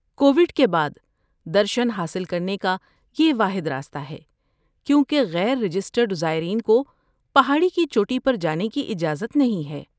Covid کے بعد، درشن حاصل کرنے کا یہ واحد راستہ ہے کیونکہ غیر رجسٹرڈ زائرین کو پہاڑی کی چوٹی پر جانے کی اجازت نہیں ہے۔